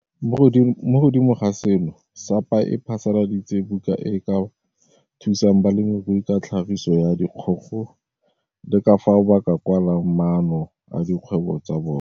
Mo godimo ga seno, SAPA e phasaladitse buka e e ka thusang balemirui ka tlhagiso ya dikgogo le ka fao ba ka kwalang maano a dikgwebo tsa bona.